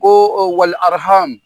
Ko